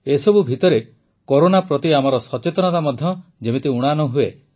ଏସବୁ ଭିତରେ କରୋନା ପ୍ରତି ଆମର ସଚେତନତା ମଧ୍ୟ ଯେମିତି ଊଣା ନ ହୁଏ